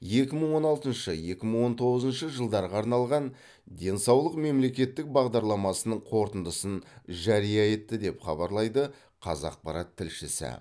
екі мың он алтыншы екі мың он тоғызыншы жылдарға арналған денсаулық мемлекеттік бағдарламасының қорытындысын жария етті деп хабарлайды қазақпарат тілшісі